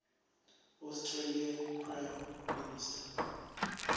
australian prime minister